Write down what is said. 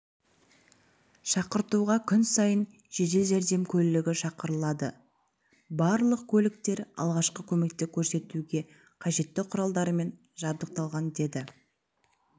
шақыртуға күн сайын жедел жәрдем көлігі шығарылады барлық көліктер алғашқы көмекті көрсетуге қажетті құралдармен жабдықталған деді